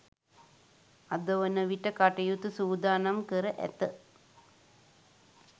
අද වන විට කටයුතු සූදානම් කර ඇත.